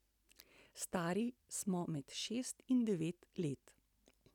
Stari smo med šest in devet let.